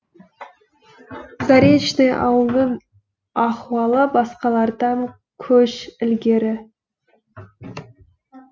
заречный ауылының ахуалы басқалардан көш ілгері